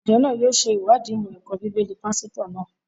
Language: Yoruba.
Ìjọ náà yóò sèwáàdí ìmọ̀ ẹ̀kọ́ bíbélì pásítọ̀ náà